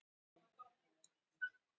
JÁTVARÐUR: Ég ber ábyrgðina.